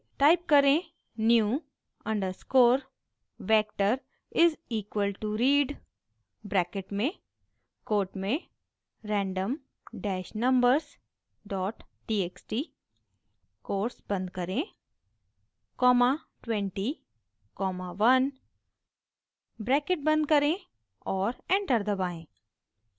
type करें: new underscore vector is equal to read bracket में quote में random dash numbers dot txt quotes बंद करें comma 20 comma 1 bracket बंद करें और एंटर दबाएं